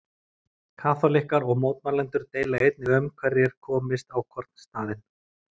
Kaþólikkar og mótmælendur deila einnig um hverjir komist á hvorn staðinn.